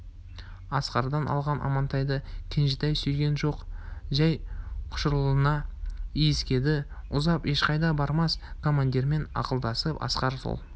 асқардан алған амантайды кенжетай сүйген жоқ жай құшырлана иіскеді ұзап ешқайда бармас командирмен ақылдасып асқар сол